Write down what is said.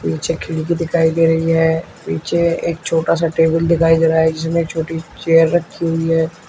नीचे खिड़की दिखाई दे रही है पीछे एक छोटा सा टेबल दिखाई दे रहा है जिसमें एक छोटी चेयर रखी हुई है।